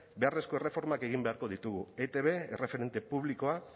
beharrezko erreformak egin beharko ditu etb erreferente publikoa